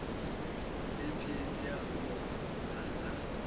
ephenia mo nana